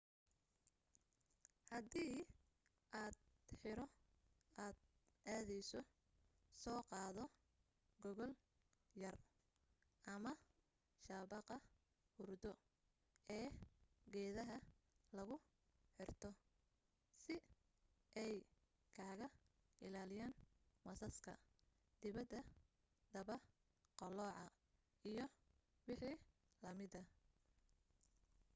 haddi aad xero aad aadeyso soo qaado gogol yar ama shabaqa hurdo ee geedaha lagu xirto si ay kaag ilaaliyan masaska daba qalooca iyo waxii lamida